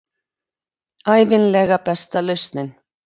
Ævinlega besta lausnin.